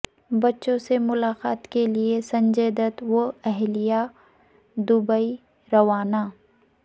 بچوں سے ملاقات کیلئے سنجے دت و اہلیہ دوبئی روانہ